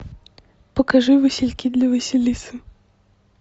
покажи васильки для василисы